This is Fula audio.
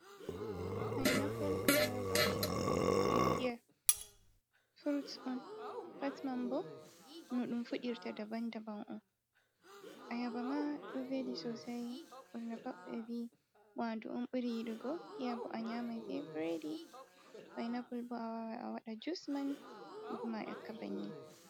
Painapul, ayaba, be piya furut on patman be no ɗum fudirta daban daban on. a yaba ma ɗo veli sosai ɓurna ɓevi ɓe vi wandu’un ɓuri yiɗugo piya bo a nyamai be biredi painapul bo a wawai a waɗa jusman kuma a ƴakka banni.